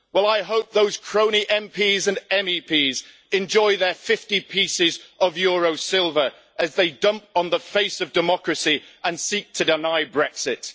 Well I hope those crony MPs and MEPs enjoy their 50 pieces of euro silver as they dump on the face of democracy and seek to deny Brexit.